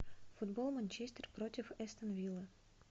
футбол манчестер против астон вилла